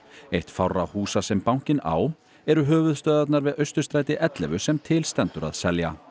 eitt fárra húsa sem bankinn á eru höfuðstöðvarnar við Austurstræti ellefu sem til stendur að selja